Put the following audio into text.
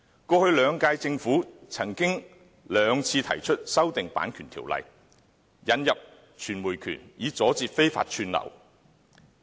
過去兩屆政府曾兩次提出修訂《版權條例》，引入傳播權，以阻截非法串流。